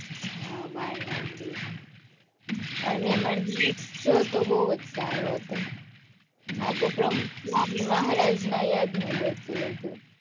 હાં બાળનગરી અને એમાં તો બહુ જ સારો હતો. આખું પ્રમુખ સ્વામી મહારાજ નાં યાદ નું જ હતું બધુ.